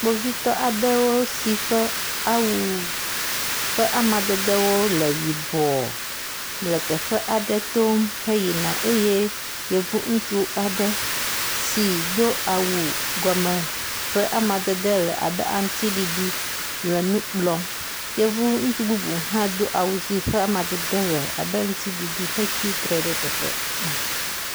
Kpovitɔ aɖewo si ƒe awu ƒe amadede le yibɔ le teƒe aɖe tom yina eye yevu ŋutsu aɖe si do awu gɔme ƒe amadede le abe aŋuti ɖiɖi le nu kplɔm. Yevu ŋutsu bubu hã do awu si ƒe amadede le aŋuti ɖiɖi hetsi tre ɖe teƒe ma.